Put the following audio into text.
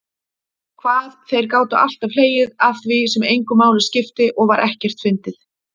Hvað þeir gátu alltaf hlegið að því sem engu máli skipti og var ekkert fyndið.